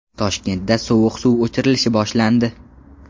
Toshkentda sovuq suv o‘chirilishi boshlandi.